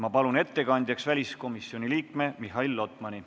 Ma palun ettekandeks väliskomisjoni liikme Mihhail Lotmani.